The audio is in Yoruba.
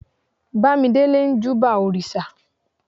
bamidele n júbà òrìsà